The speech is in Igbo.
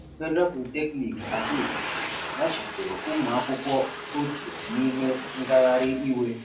Federal Polytechnic Ado Ekiti machibidoro ụmụ akwụkwọ otu n'ime ngagharị iwe.